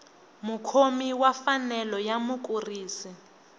mukhomi wa mfanelo ya mukurisi